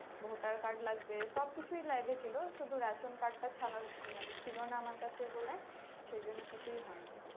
voter card লাগবে সবকিছুই লেগেছিলো শুধু ration card টা ছাড়া আহ মানে ছিল না আমার কাছে বলে সেই জন্যই কিছু হয়নি